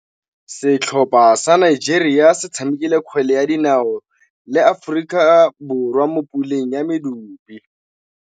Setlhopha sa Nigeria se tshamekile kgwele ya dinaô le Aforika Borwa mo puleng ya medupe.